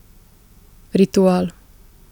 Ritual.